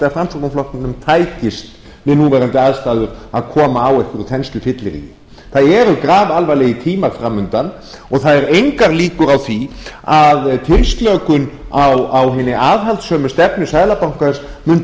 að framsóknarflokknum tækist við núverandi aðstæður að koma á einhverju þenslufylliríi það eru grafalvarlegir tímar fram undan og það eru engar líkur á því að tilslökun á hinni aðhaldssömu stefnu seðlabankans mundi